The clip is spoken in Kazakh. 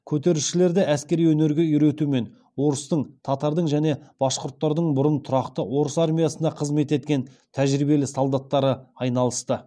көтерілісшілерді әскери өнерге үйретумен орыстың татардың және башқұрттардың бұрын тұрақты орыс армиясында қызмет еткен тәжірибелі солдаттары айналысты